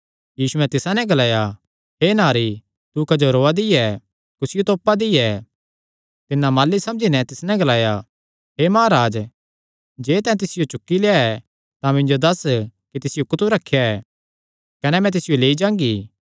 यीशुयैं तिसा नैं ग्लाया हे नारी तू क्जो रोआ दी ऐ कुसियो तोपा दी ऐ तिन्नै माली समझी नैं तिस नैं ग्लाया हे महाराज जे तैं तिसियो चुक्की लेआ ऐ तां मिन्जो दस्स कि तिसियो कुत्थू रखेया ऐ कने मैं तिसियो लेई जांगी